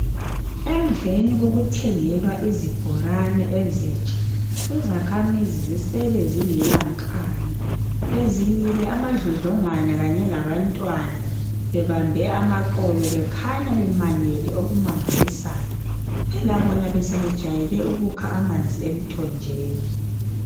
Emveni kokuthengelwa izibhorane ezitsha. lzakhamizi zisele zingela nkani. Bezimile amadlodlongwana, kanye labantwana. Bebambe amaqolo. Bekhanya bemangele okumangalisayo, phelab bona besebejayele ukukha amanzi emthonjeni.